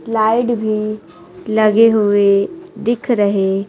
light भी लगे हुए दिख रहे--